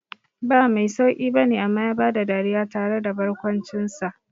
Ba mai sauqi bane amma ya bada dariya tare da barkwancinsa.